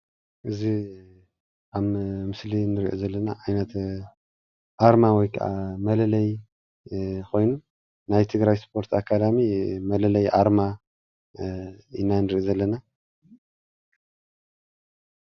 እዚ ኣብ ምስሊ እንሪኦ ዘለና ዓይነት ኣርማ ወይ ክዓ መለለይ ኮይኑ ናይ ትግራይ ስፖርት ኣካዳሚ መለለይ ኣርማ ኢና ንርኢ ዘለና፡፡